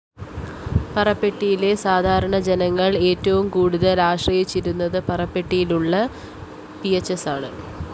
പഞ്ചായത്തിലെ സാധാരണ ജനങ്ങള്‍ ഏറ്റവും കൂടുതല്‍ ആശ്രയിച്ചിരുന്നത് പറപ്പെട്ടിയിലുള്ള പിഎച്ച്‌സിയാണ്